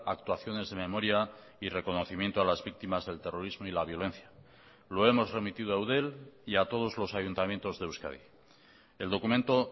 actuaciones de memoria y reconocimiento a las víctimas del terrorismo y la violencia lo hemos remitido a eudel y a todos los ayuntamientos de euskadi el documento